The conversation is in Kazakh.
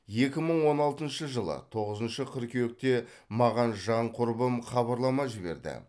екі мың он алтыншы жылы тоғызыншы қыркүйекте маған жан құрбым хабарлама жіберді